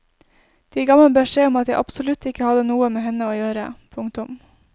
De ga meg beskjed om at jeg absolutt ikke hadde noe med henne å gjøre. punktum